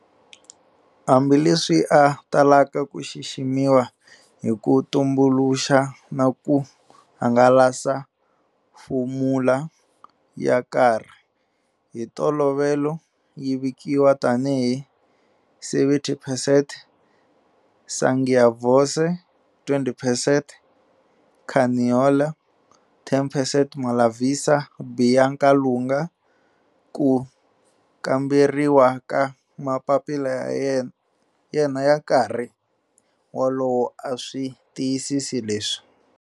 Hambi leswi a talaka ku xiximiwa hi ku tumbuluxa na ku hangalasa fomula ya karhi, hi ntolovelo yi vikiwa tani hi 70 percent Sangiovese, 20 percent Canaiolo, 10 percent Malvasia Bianca Lunga, ku kamberiwa ka mapapila ya yena ya nkarhi wolowo a swi tiyisisi leswi.